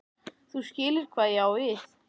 þú skilur hvað ég á við.